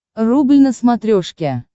рубль на смотрешке